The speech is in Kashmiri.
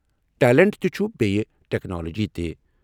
ٹیلنٹ تہِ چھُ بییہِ ٹیکنالوجی تہِ۔